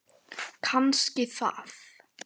Kannski það.